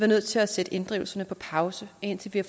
nødt til at sætte inddrivelserne på pause indtil vi